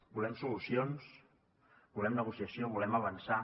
volem solucions volem negociació volem avançar